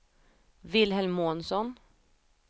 Wilhelm Månsson